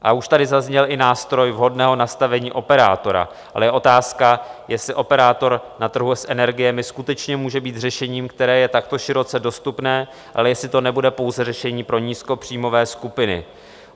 A už tady zazněl i nástroj vhodného nastavení operátora, ale je otázka, jestli operátor na trhu s energiemi skutečně může být řešením, které je takto široce dostupné, a jestli to nebude pouze řešení pro nízkopříjmové skupiny.